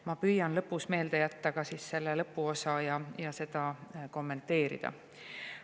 Ma püüan selle osa jätta meelde ja seda lõpus kommenteerida.